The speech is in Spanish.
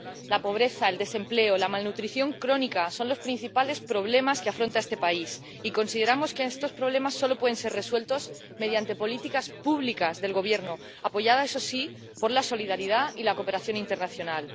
La pobreza, el desempleo, la malnutrición crónica son los principales problemas que afronta este país. Y consideramos que estos problemas solo pueden ser resueltos mediante políticas públicas del Gobierno, apoyadas, eso sí, por la solidaridad y la cooperación internacional.